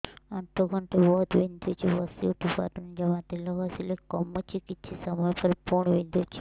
ଆଣ୍ଠୁଗଣ୍ଠି ବହୁତ ବିନ୍ଧୁଛି ବସିଉଠି ପାରୁନି ଜମା ତେଲ ଘଷିଲେ କମୁଛି କିଛି ସମୟ ପରେ ପୁଣି ବିନ୍ଧୁଛି